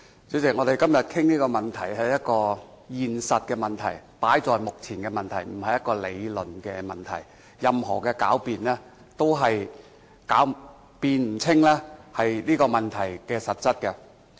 主席，我們今天討論這個問題，是一個現實問題，放在眼前的問題，不是一個理論問題，任何狡辯，都是辯不清這個問題的實質。